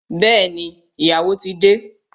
Bẹẹni, ìyàwó ti de